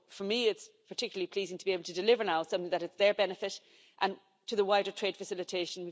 So, for me it's particularly pleasing to be able to deliver now something that is to their benefit and the wider trade facilitation.